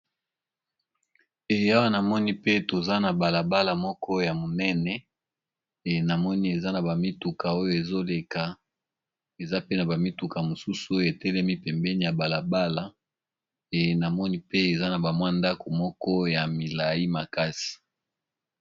Eya namoni pe toza na balabala moko ya monene enamoni eza na ba mituka oyo ezoleka eza pe na ba mituka mosusu oyo etelemi pembeni ya balabala enamoni pe eza na ba mwa ndako moko ya milayi makasi.